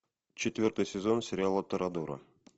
четвертый сезон сериала торадора